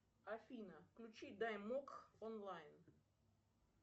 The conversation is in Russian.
афина включи даймок онлайн